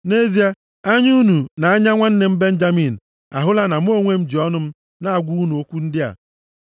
“Nʼezie, anya unu na nʼanya nwanne m Benjamin, ahụla na mụ onwe m ji ọnụ m na-agwa unu okwu ndị a.